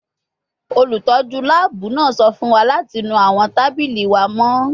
Olutọju laabu naa sọ fun wa lati nu awọn tabili wa mọ